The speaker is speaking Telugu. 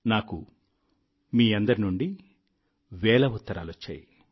నాకు మీ అందరి నుండి వేల ఉత్తరాలొచ్చాయి